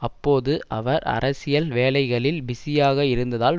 அப்போது அவர் அரசியல் வேலைகளில் பிஸியாக இருந்ததால்